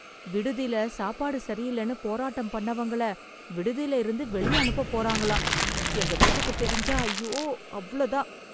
விடுதில சாப்பாடு சரியில்லன்னு போராட்டம் பண்ணவங்கள விடுதில இருந்து வெளிய அனுப்பப் போறாங்களாம். எங்க வீட்டுக்குத் தெரிஞ்சா ஐயோ அவ்ளோ தான்.